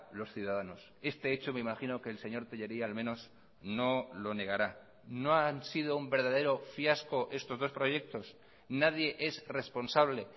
los ciudadanos este hecho me imagino que el señor tellería al menos no lo negará no han sido un verdadero fiasco estos dos proyectos nadie es responsable